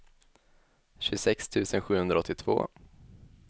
tjugosex tusen sjuhundraåttiotvå